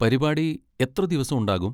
പരിപാടി എത്ര ദിവസം ഉണ്ടാകും?